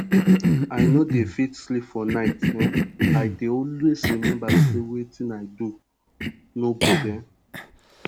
i no dey fit sleep for night um i dey always remember say wetin i do no good um